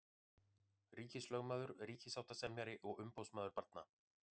Ríkislögmaður, ríkissáttasemjari og umboðsmaður barna.